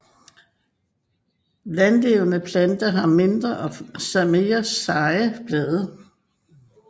Landlevende planter har mindre og mere seje blade